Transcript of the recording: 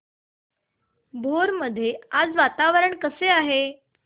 भोर मध्ये आज वातावरण कसे आहे